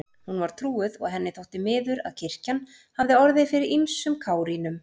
Hún var trúuð og henni þótti miður að kirkjan hafði orðið fyrir ýmsum kárínum.